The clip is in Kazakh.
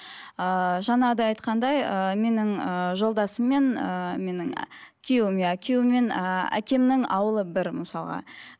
ыыы жаңағыдай айтқандай ыыы менің ыыы жолдасыммен ыыы менің күйеуіме күйеуіммен ііі әкемнің ауылы бір мысалға